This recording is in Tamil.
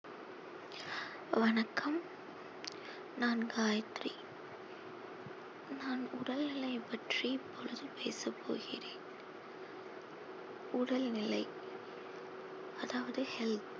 வணக்கம் நான் காயத்ரி நான் உடல்நிலை பற்றி இப்பொழுது பேசப் போகிறேன் உடல்நிலை அதாவது health